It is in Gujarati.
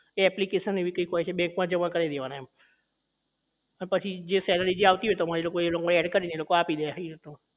એ application એવી કોઈક હોય છે bank માં જમા કરાઈ દેવાની એના પછી એ જે salary આવતી હોય એ તમારી ad કરીને આપી દે એ રીતનું